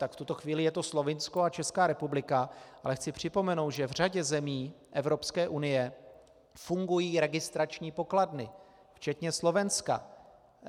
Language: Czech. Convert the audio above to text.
Tak v tuto chvíli je to Slovinsko a Česká republika, ale chci připomenout, že v řadě zemí Evropské unie fungují registrační pokladny, včetně Slovenska.